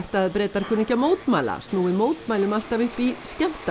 Bretar kunni ekki að mótmæla snúi mótmælum alltaf upp í